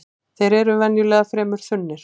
Þeir eru venjulega fremur þunnir